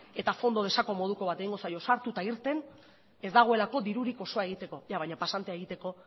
eta fondo de saco moduko bat egingo zaio sartu eta irten ez dagoelako dirurik osoa egiteko baina pasantea egiteko